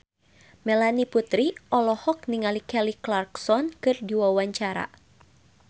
Melanie Putri olohok ningali Kelly Clarkson keur diwawancara